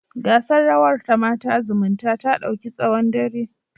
Gasar rawa ta Mata zumuntae ta dauki tsawon dare